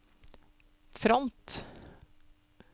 front